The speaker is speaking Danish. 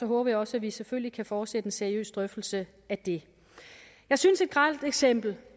håber jeg også at vi selvfølgelig kan fortsætte en seriøs drøftelse af det jeg synes et grelt eksempel